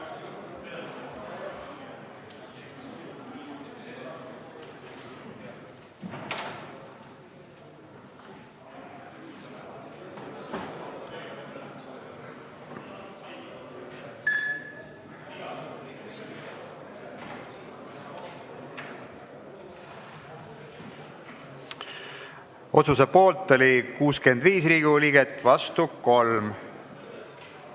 Hääletustulemused Otsuse poolt oli 65 Riigikogu liiget, vastu 3.